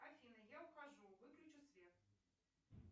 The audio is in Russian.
афина я ухожу выключи свет